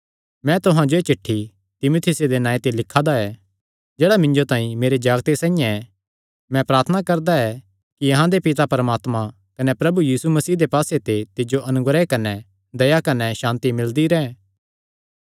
मैं तुहां जो एह़ चिठ्ठी तीमुथियुसे दे नांऐ पर लिखा दा ऐ जेह्ड़ा मिन्जो तांई मेरे जागते साइआं ऐ मैं प्रार्थना करदा ऐ कि अहां दे पिता परमात्मे कने प्रभु यीशु मसीह दे पास्से ते तिज्जो अनुग्रह कने दया कने सांति मिलदी रैंह्